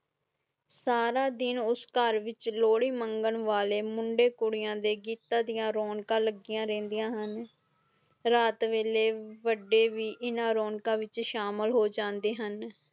ਸਾਰੇ ਦਿਨ ਉਸ ਘਰ ਵਿਚ ਲੋਹੜੀ ਮੰਗਾਂ ਵਾਲਿਆਂ ਮੁਦੇ ਕੁੜੀਆਂ ਦੇ ਗੀਤਾਂ ਦੀਆ ਰੌਣਕ ਲਗਿਆਂ ਰੇਂਦੀਆਂ ਹੌਂ ਰਾਤ ਵੇਲੇ ਵਡੇ ਵੀ ਇੰਨਾ ਰੌਣਕਾਂ ਵਿਚ ਸ਼ਾਮਿਲ ਹੁੰਦੇ ਹੁਣ